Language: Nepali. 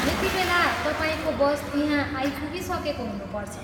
यतिबेला तपाईँको बस त्यहाँ आइपुगिसकेको हुनुपर्छ।